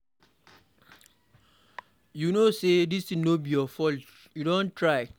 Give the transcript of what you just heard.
You no say dis thing no be your fault, you don try.